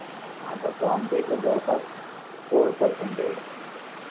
आटतो आमच्या इथे जवळपास फोर परसेनटेज आहे